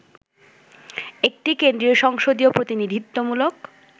একটি কেন্দ্রীয় সংসদীয় প্রতিনিধিত্বমূলক